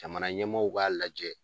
Jamana ɲɛmaaw b'a lajɛ